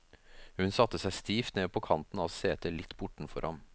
Hun satte seg stivt ned på kanten av setet litt bortenfor ham.